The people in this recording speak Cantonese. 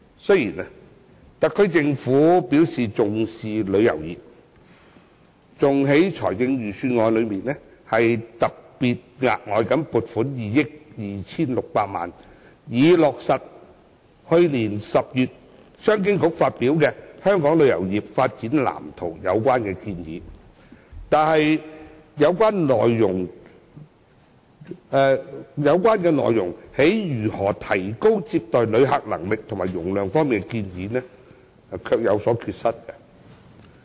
雖然特區政府表示重視旅遊業，更在財政預算案中額外撥款2億 2,600 萬元，以落實去年10月商務及經濟發展局發表的《香港旅遊業發展藍圖》中的有關建議，但有關如何提高接待旅客能力和客量方面的建議卻有所缺失。